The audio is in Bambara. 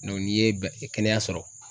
n'i ye ba kɛnɛya sɔrɔ